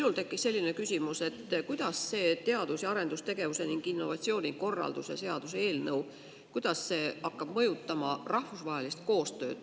Mul tekkis selline küsimus, et kuidas see teadus‑ ja arendustegevuse ning innovatsiooni korralduse seadus hakkab mõjutama rahvusvahelist koostööd.